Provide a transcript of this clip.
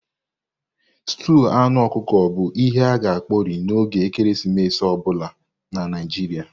Stúu anụ ọkụkọ bu ihe a-ga ekpori n'oge ekeresimesi obula na Naijiria.